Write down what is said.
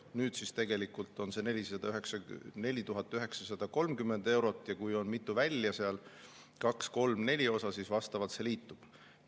Nüüd on see tegelikult 4930 eurot, ja kui seal on mitu välja, kaks, kolm, neli osa, siis vastavalt see liitub.